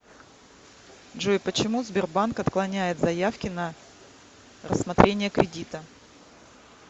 джой почему сбербанк отклоняет заявки на рассмотрение кредита